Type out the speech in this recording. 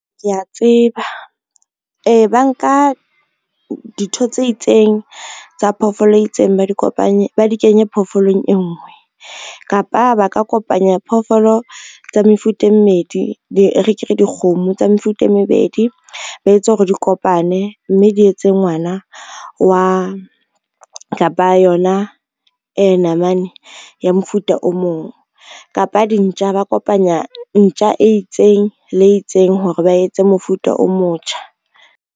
Kea tseba, ee ba nka ditho tse itseng tsa phoofolo e itseng ba di kenye phoofolong e ngwe, kapa ba ka kopanya phoofolo tsa mefuta e mmedi, e re ke re dikgomo tsa mefuta e mebedi ba etse hore di kopane, mme di etse ngwana wa kapa yona namane ya mofuta o mong. Kapa dintja ba kopanya ntja e itseng le itseng hore ba etse mofuta o motjha.